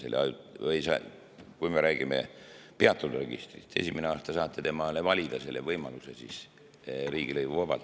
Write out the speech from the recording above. Või kui me räägime peatatud registrist, siis esimene aasta saate valida selle võimaluse riigilõivuvabalt.